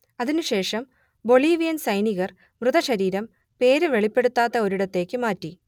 അതിനുശേഷം ബൊളീവിയൻ സൈനികർ മൃതശരീരം പേര് വെളിപ്പെടുത്താത്ത ഒരിടത്തേക്ക് മാറ്റി